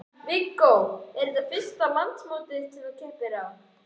Viggó: Er þetta fyrsta landsmótið sem að þú keppir á?